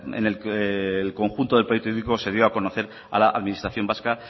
en el que el conjunto del proyecto se dio a conocer a la administración vasca